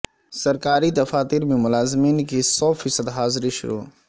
سرکاری دفاتر میں ملازمین کی سو فیصد حاضری شروع